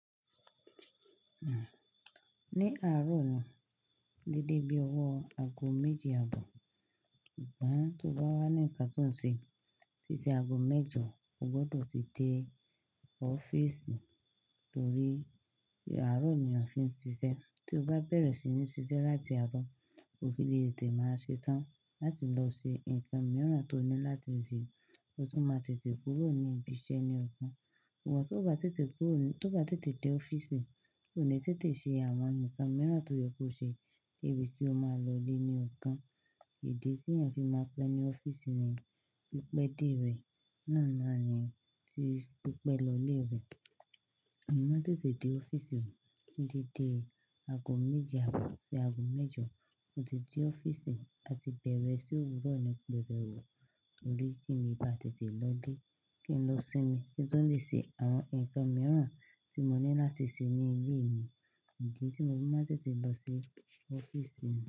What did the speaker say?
Ní àárọ̀ dédé bí owó ago méje àbọ̀. Sugbon tí ó bá wá ní nǹkan tó ń ṣe títí ago mẹ́jọ, o gbọdọ̀ ti dé ọ́fíìsì torí àárọ̀ ni a fi ń ṣiṣẹ́. Tí o bá bẹ̀rẹ̀ sí ní ṣiṣẹ́ láti àárọ̀, ò fi ilé tetẹ́ máa ṣe tán láti lọ ṣe nǹkan mìíràn tó ní láti ṣe, o tún máa tètè kúrò ní ibi iṣẹ́ ní ọ̀kan. Tó bá tètè kúrò, tó bá tètè dé ọ́fíìsì, ò ní tètè ṣe àwọn nǹkan mìíràn tó yẹ kó ṣe, dé bì kí ó máa lọ lé ní ọ̀kan. Idi tí èeyàn fi máa pẹ́ ní ọ́fíìsì ni pípẹ́ dé rẹ̀, náà nani ti pípẹ́ lọlé rẹ̀. Mọ̀ maa n tètè dé ọ́fíìsì mi dédé ago méje àbọ̀, ṣi ago mẹ́jọ mo ti dé ọ́fíìsì àti bẹ̀rẹ̀ ise òwúrọ̀ ní pẹ́rẹ́wu. Torí kí n le bá tètè lọ lé, kí n lọ sinmi, kí n tó lè ṣe àwọn nǹkan mìíràn tí mo ní láti ṣe ní ilé mi. Idi tí mo fi maá n tètè lọ sí ọ́fíìsì mi.